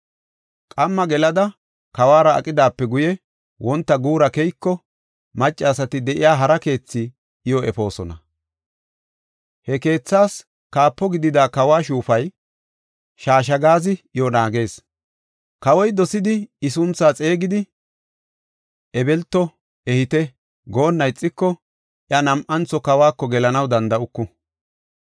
Qamma gelada, kawuwara aqidaape guye, wonta guura keyiko, maccasati de7iya hara keethi iyo efoosona. He keethaas kaapo gidida kawo shuufay Shashagaazi iyo naagees. Kawoy dosidi I sunthaa xeegidi, “Ebelto ehite” goonna ixiko, iya nam7antho kawako gelanaw danda7uku.